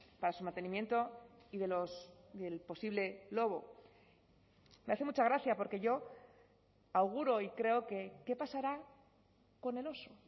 para su mantenimiento y del posible lobo me hace mucha gracia porque yo auguro y creo qué pasará con el oso